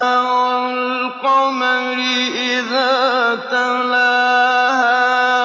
وَالْقَمَرِ إِذَا تَلَاهَا